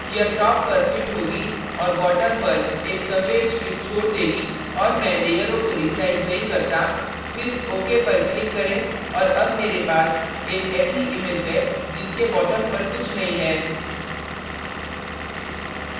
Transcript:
यह top पर fit होगी और bottom पर एक सफ़ेद strip छोड़ देगी और मैं लेयरों को resize नहीं करता सिर्फ ok पर click करें और अब मेरे पास एक ऐसी image है जिसके bottom पर कुछ नहीं है